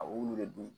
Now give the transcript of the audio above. A b'olu de dun